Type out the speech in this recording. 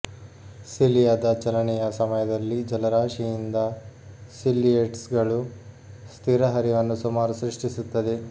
ಸಿಲಿಯಾದ ಚಲನೆಯ ಸಮಯದಲ್ಲಿ ಜಲರಾಶಿಯಿಂದ ಸಿಲ್ಲಿಯೇಟ್ಸ್ಗಳು ಸ್ಥಿರ ಹರಿವನ್ನು ಸುಮಾರು ಸೃಷ್ಟಿಸುತ್ತದೆ